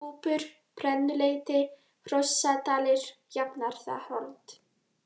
Kúpur, Brennuleiti, Hrossadalir, Jafnaðarholt